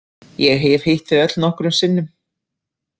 Ég hef hitt þau öll nokkrum sinnum.